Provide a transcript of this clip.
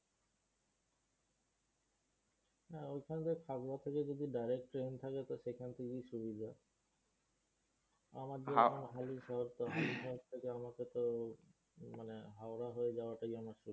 না ঐখান দিয়ে থাকড়া থেকে যদি direct train থাকে তো সেইখান থেকেই সুবিধা। আমাদের বর্ধমান মানে হাওড়া হয়ে যাওয়াটাই আমার